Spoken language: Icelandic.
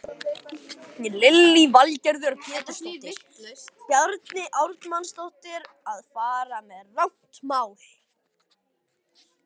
Lillý Valgerður Pétursdóttir: Bjarni Ármannsson að fara með rangt mál?